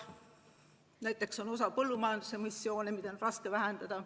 Näiteks põllumajanduses on emissioone, mida on raske vähendada.